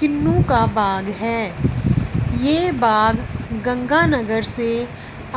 किन्नू का बाग है ये बाग गंगानगर से